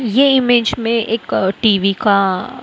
ये इमेज में एक टी_वी का--